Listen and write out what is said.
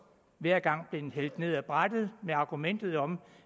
hver gang blevet hældt ned ad brættet med argumentet om